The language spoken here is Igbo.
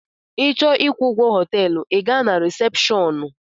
Ị chọọ ịkwụ ụgwọ họteelu I gaa na resepshọọnu.